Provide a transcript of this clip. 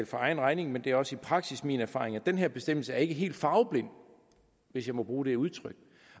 for egen regning men det er også i praksis min erfaring at den her bestemmelse ikke er helt farveblind hvis jeg må bruge det udtryk